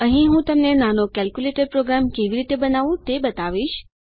અહીં હું તમને નાનો કેલ્ક્યુલેટર પ્રોગ્રામ કેવી રીતે બનાવવું તે બતાવીશ